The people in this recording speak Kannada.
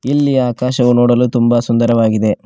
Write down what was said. ಇಲ್ಲಿ ಆಕಾಶವು ನೋಡಲು ತುಂಬ ಸುಂದರವಾಗಿದೆ.